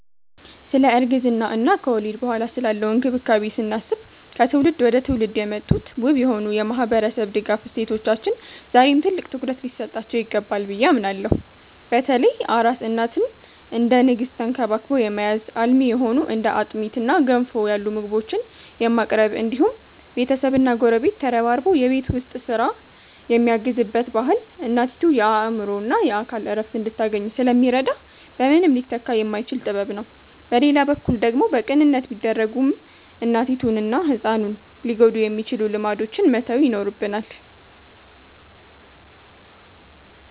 ስለ እርግዝና እና ከወሊድ በኋላ ስላለው እንክብካቤ ስናስብ፣ ከትውልድ ወደ ትውልድ የመጡት ውብ የሆኑ የማህበረሰብ ድጋፍ እሴቶቻችን ዛሬም ትልቅ ትኩረት ሊሰጣቸው ይገባል ብዬ አምናለሁ። በተለይ አራስ እናትን እንደ ንግስት ተንክባክቦ የመያዝ፣ አልሚ የሆኑ እንደ አጥሚትና ገንፎ ያሉ ምግቦችን የማቅረብ እንዲሁም ቤተሰብና ጎረቤት ተረባርቦ የቤት ውስጥ ስራን የሚያግዝበት ባህል እናቲቱ የአእምሮና የአካል እረፍት እንድታገኝ ስለሚረዳ በምንም ሊተካ የማይችል ጥበብ ነው። በሌላ በኩል ደግሞ በቅንነት ቢደረጉም እናቲቱንና ህፃኑን ሊጎዱ የሚችሉ ልማዶችን መተው ይኖርብናል።